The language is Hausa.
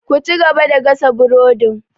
Ku cigaba da gasa burodin!